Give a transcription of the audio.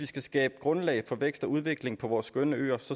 skal skabes grundlag for vækst og udvikling på vores skønne øer